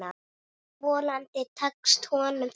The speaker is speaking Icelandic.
Vonandi tekst honum þetta.